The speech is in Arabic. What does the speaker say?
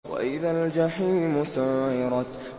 وَإِذَا الْجَحِيمُ سُعِّرَتْ